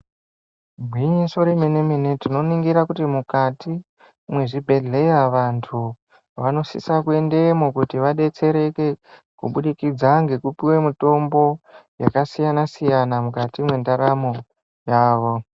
Igwinyiso remene-mene tinoningira kuti mukati mwezvibhehleya vantu vanosisa kuendemwo kuti vadetsereke kubudikidza ngekupiwe mutombo yakasiyana-siyana mukati mwendaramo yavo.